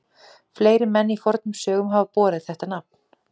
Fleiri menn í fornum sögum hafa borið þetta nafn.